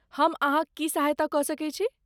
हम अहाँक की सहायता कऽ सकैत छी?